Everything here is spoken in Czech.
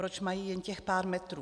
Proč mají jen těch pár metrů?